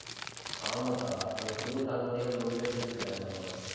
ஆமாக்கா, அங்க குளிர் தாங்க முடியாம, நூறு பேர் செத்து போயிட்டாங்களாமா